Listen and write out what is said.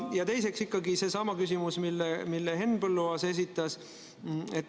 Ja teiseks ikkagi seesama küsimus, mille Henn Põlluaas esitas.